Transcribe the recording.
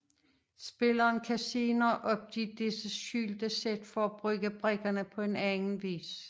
Spilleren kan senere opgive disse skjulte sæt for at bruge brikkerne på en anden vis